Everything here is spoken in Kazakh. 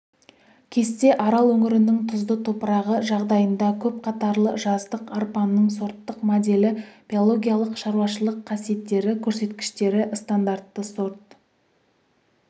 кесте арал өңірінің тұзды топырағы жағдайында көпқатарлы жаздық арпаның сорттық моделі биологиялық-шаруашылық қасиеттері көрсеткіштері стандартты сорт